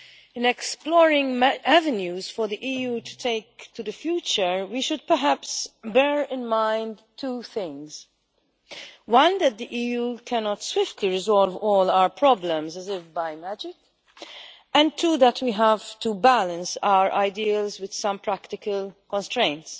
In exploring avenues for the EU to take in the future, we should perhaps bear in mind two things one, that the EU cannot swiftly resolve all problems as if by magic and two, that we have to balance our ideas with some practical constraints.